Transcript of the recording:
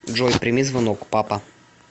джой прими звонок папа